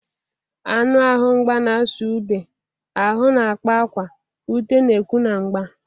Anụ ahụ mgba na-asụ ude, ahụ na-akpa akwa, ute na-ekwu na mgba.